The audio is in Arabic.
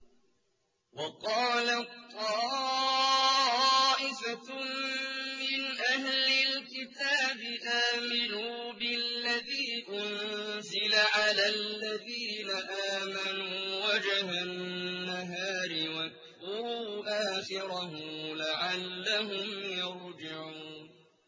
وَقَالَت طَّائِفَةٌ مِّنْ أَهْلِ الْكِتَابِ آمِنُوا بِالَّذِي أُنزِلَ عَلَى الَّذِينَ آمَنُوا وَجْهَ النَّهَارِ وَاكْفُرُوا آخِرَهُ لَعَلَّهُمْ يَرْجِعُونَ